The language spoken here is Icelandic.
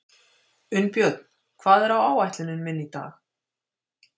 Unnbjörn, hvað er á áætluninni minni í dag?